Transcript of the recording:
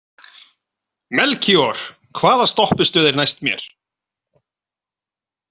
Melkíor, hvaða stoppistöð er næst mér?